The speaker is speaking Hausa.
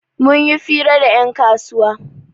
Mun yi fira da 'yan kasuwa